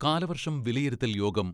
കാലവർഷം വിലയിരുത്തൽ യോഗം